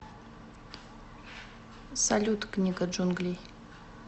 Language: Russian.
салют книга джунглей